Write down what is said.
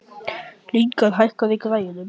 Lyngar, hækkaðu í græjunum.